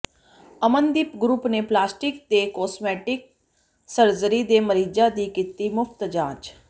Amandeep group ਨੇ plastic ਤੇ cosmetic surgery ਦੇ ਮਰੀਜਾਂ ਦੀ ਕੀਤੀ ਮੁਫਤ ਜਾਂਚ